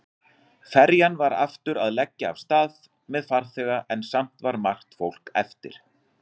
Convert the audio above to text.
Ferjan var aftur að leggja af stað með farþega en samt var margt fólk eftir.